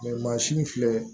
mansin in filɛ